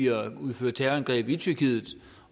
at udføre terrorangreb i tyrkiet